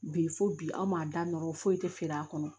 Bi fo bi anw ma da n ɔn foyi tɛ feere a kɔnɔ